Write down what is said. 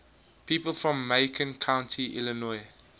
people from macon county illinois